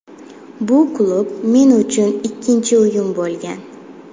Bu klub men uchun ikkinchi uyim bo‘lgan.